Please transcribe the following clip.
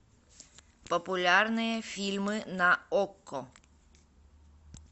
популярные фильмы на окко